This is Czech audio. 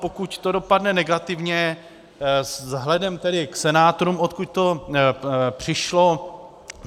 Pokud to dopadne negativně vzhledem tedy k senátorům, odkud to přišlo.